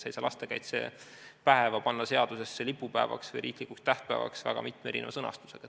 Sa ei saa lastekaitsepäeva lipupäevaks või riiklikuks tähtpäevaks muutmist panna seadusesse väga mitme erineva sõnastusega.